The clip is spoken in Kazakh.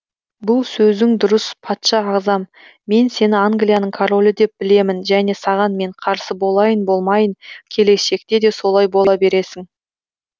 бұл сөзің дұрыс патша ағзам мен сені англияның королі деп білемін және саған мен қарсы болайын болмайын келешекте де солай бола бересің